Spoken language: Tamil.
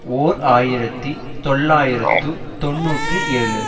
ஓர் ஆயிரத்தி தொள்ளாயிரத்து தொன்னூற்றி ஏழு